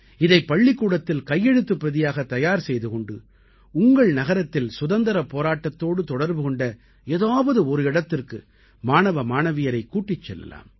இதைப் பள்ளிக்கூடத்தில் கையெழுத்துப் பிரதியாக தயார் செய்து கொண்டு உங்கள் நகரத்தில் சுதந்திரப் போராட்டத்தோடு தொடர்பு கொண்ட ஏதாவது ஒரு இடத்திற்கு மாணவ மாணவியரைக் கூட்டிச் செல்லலாம்